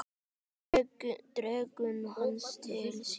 Dregur hana til sín.